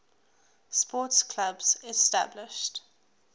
sports clubs established